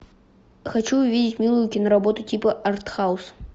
хочу увидеть милую киноработу типа артхаус